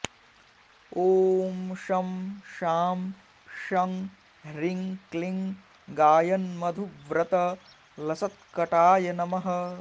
ॐ शं शां षं ह्रीं क्लीं गायन्मधुव्रतलसत्कटाय नमः